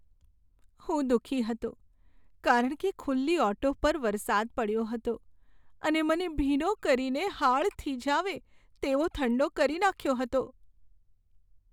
હું દુઃખી હતો કારણ કે ખુલ્લી ઓટો પર વરસાદ પડ્યો હતો અને મને ભીનો કરીને હાડ થીજાવે તેવો ઠંડો કરી નાખ્યો હતો.